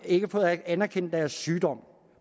ikke fået anerkendt deres sygdom